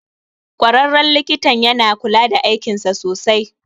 Ƙwararren likitan yana kula da aikinsa sosai